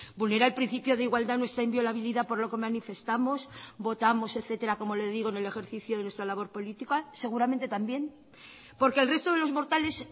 vulnera el principio de igualdad nuestra inviolabilidad por lo que manifestamos votamos etcétera como le digo en el ejercicio de nuestra labor política seguramente también porque el resto de los mortales